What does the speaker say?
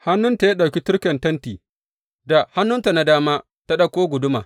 Hannunta ya ɗauki turken tenti, da hannunta na dama ta ɗauko guduma.